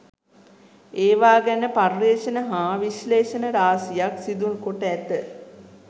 ඒවා ගැන පර්යේෂණ හා විශ්ලේෂණ රාශියක් සිදු කොට ඇත.